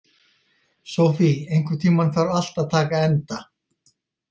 Sophie, einhvern tímann þarf allt að taka enda.